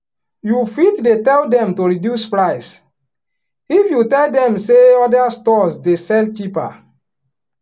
you fit dey tell dem to reduce price if you tell dem say other store's dey sell cheaper